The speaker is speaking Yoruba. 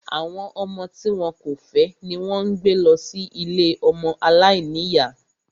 Àwọn ọmọ tí wọn kò fẹ́ ni wón ń gbé lọ sí ilée ọmọ aláìníyá